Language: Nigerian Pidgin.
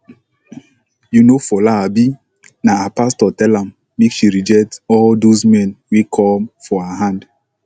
you know fola abi na her pastor tell am make she reject all doz men wey come for her hand